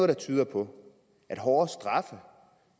der tyder på at hårdere straffe